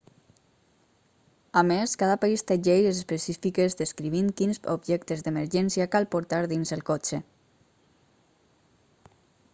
a més cada país té lleis específiques descrivint quins objectes d'emergència cal portar dins el cotxe